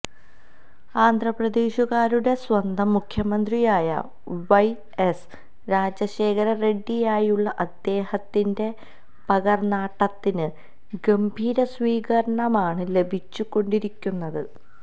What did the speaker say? ആന്ധ്രപ്രേദശുകാരുടെ സ്വന്തം മുഖ്യമന്ത്രിയായ വൈഎസ് രാജശേഖര റെഡ്ഡിയായുള്ള അദ്ദേഹത്തിന്റെ പകര്ന്നാട്ടത്തിന് ഗംഭീര സ്വീകരണമാണ് ലഭിച്ചുകൊണ്ടിരിക്കുന്നത്